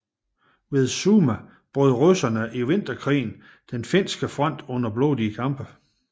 Ved Summa brød russerne i vinterkrigen den finske front under blodige kampe